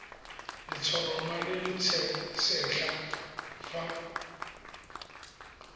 letshoroma le le setlha fa